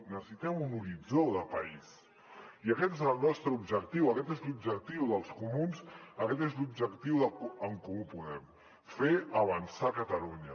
necessitem un horitzó de país i aquest és el nostre objectiu aquest és l’objectiu dels comuns aquest és l’objectiu d’en comú podem fer avançar catalunya